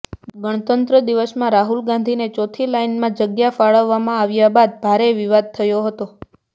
ગણતંત્ર દિવસમાં રાહુલ ગાંધીને ચોથી લાઇનમાં જગ્યા ફાળવવામાં આવ્યા બાદ ભારે વિવાદ થયો હતો